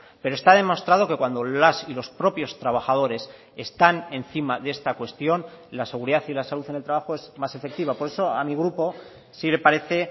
pero está demostrado que cuando las y los propios trabajadores están encima de esta cuestión la seguridad y la salud en el trabajo es más efectiva por eso a mi grupo sí le parece